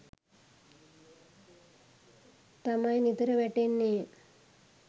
තමයි නිතර වැටෙන්නේ.